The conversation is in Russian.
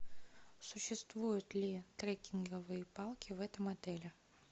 существуют ли трекинговые палки в этом отеле